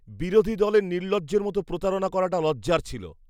বিরোধী দলের নির্লজ্জের মতো প্রতারণা করাটা লজ্জার ছিল।